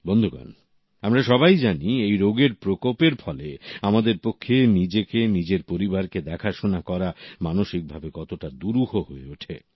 বন্ধুগণ আমরা সবাই জানি এই রোগের প্রকোপের ফলে আমাদের পক্ষে নিজেকে নিজের পরিবারকে দেখাশোনা করা মানসিকভাবে কতটা দুরূহ হয়ে ওঠে